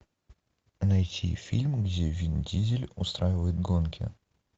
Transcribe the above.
найти фильм где вин дизель устраивает гонки